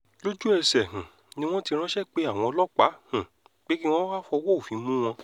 lójú-ẹsẹ̀ um ni wọ́n ti ránṣẹ́ pe àwọn ọlọ́pàá um pé kí wọ́n wáá fọwọ́ òfin mú wọn